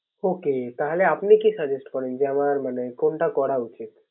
Okay তাহলে আপনি কি Suggest করেন। যে আমারে মানে কোনটা করা উচিত